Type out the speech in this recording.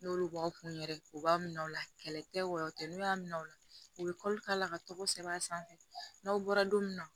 N'olu b'aw kun yɛrɛ u b'a minɛ u la kɛlɛ tɛ wɔɔrɔ tɛ n'u y'a minɛ o la u bɛ k'a la ka tɔgɔ sɛbɛn a sanfɛ n'aw bɔra don min na